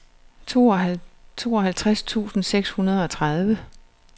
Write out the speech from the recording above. tooghalvtreds tusind seks hundrede og tredive